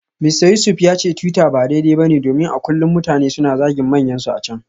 Mista Yusuf ya ce twitter ba daidai ba ne domin a kullum mutane suna zagin manyansu a can.